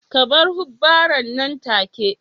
Ku bar hubbaren nan take